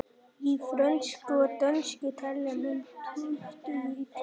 Í frönsku og dönsku telja menn tuttugu í knippið.